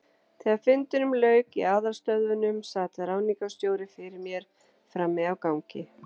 Þegar fundinum lauk í aðalstöðvunum, sat ráðningarstjóri fyrir mér frammi á gangi.